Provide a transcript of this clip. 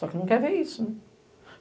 Só que não quer ver isso, né?